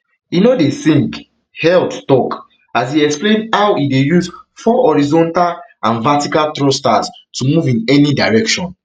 e no dey sink heald tok as e explain how e dey use four horizontal and vertical thrusters to move in any direction